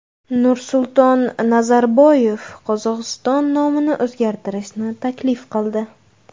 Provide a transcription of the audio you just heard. Nursulton Nazarboyev Qozog‘iston nomini o‘zgartirishni taklif qildi.